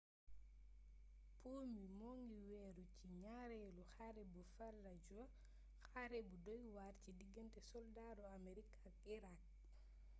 poomi mongi wééru ci gnaarélu xare bu fallujah xare bu doywar ci digeente soldaaru amerig ak iraak